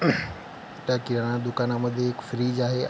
त्या किराणा दुकानमध्ये एक फ्रीज आहे.